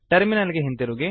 terminal ಗೆ ಹಿಂದಿರುಗಿ